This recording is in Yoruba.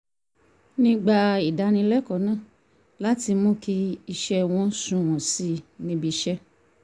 nígbà ìdánilẹ́kọ̀ọ́ náà láti mú kí iṣẹ́ wọn sunwọ̀n sí i ní ibiṣẹ́